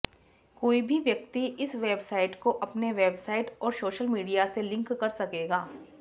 कोई भी व्यक्ति इस वेबसाइट को अपने वेबसाइट और सोशल मिडिया से लिंक कर सकेगा